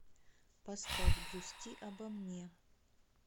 поставь грусти обо мне